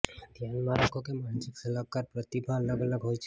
ધ્યાનમાં રાખો કે માનસિક સલાહકાર પ્રતિભા અલગ અલગ હોય છે